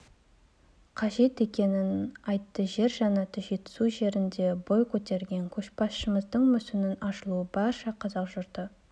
қажет екенін айтты жер жәннаты жетісу жерінде бой көтерген көшбасшымыздың мүсінінің ашылуы барша қазақ жұрты